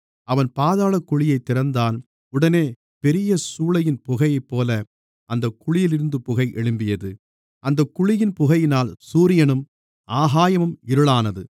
அவன் பாதாளக்குழியைத் திறந்தான் உடனே பெரியசூளையின் புகையைப்போல அந்தக் குழியிலிருந்து புகை எழும்பியது அந்தக் குழியின் புகையினால் சூரியனும் ஆகாயமும் இருளானது